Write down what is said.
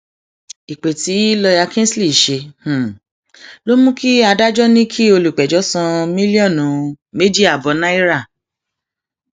ìpè tí lọọyà kingsley ṣe ló mú kí adájọ ní kí olùpẹjọ san mílọọnù méjì ààbọ náírà